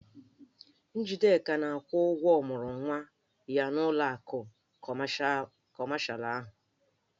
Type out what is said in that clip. Njideka na-akwụ ụgwọ ọmụrụnwa ya n'ụlọ akụ kọmashalụ ahụ.